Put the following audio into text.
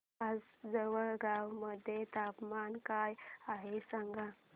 आज जळगाव मध्ये तापमान काय आहे सांगा